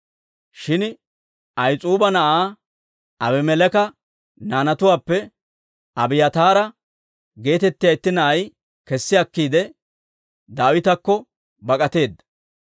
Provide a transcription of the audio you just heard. Shin Ahis'uuba na'aa Abimeleeka naanatuwaappe Abiyaataara geetettiyaa itti na'ay kessi akkiide, Daawitakko bak'ateedda.